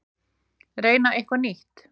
Reyna eitthvað nýtt.